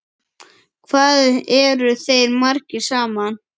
Hvað eru þeir margir saman?